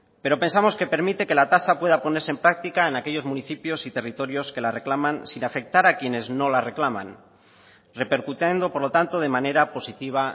pero pensamos que permite que la tasa pueda ponerse en práctica en aquellos municipios y territorios que la reclaman sin afectar a quienes no la reclaman repercutiendo por lo tanto de manera positiva